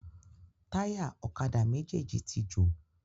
Táyà ọ̀kadà méjèjì tí jò.